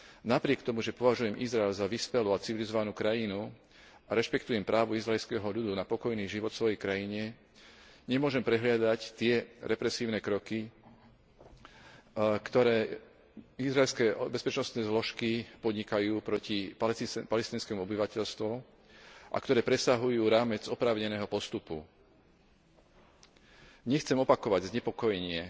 Napriek tomu, že považujem Izrael za vyspelú a civilizovanú krajinu a rešpektujem právo izraelského ľudu na pokojný život vo svojej krajine, nemôžem prehliadať tie represívne kroky, ktoré izraelské bezpečnostné zložky podnikajú proti palestínskemu obyvateľstvu a ktoré presahujú rámec oprávneného postupu. Nechcem opakovať znepokojenie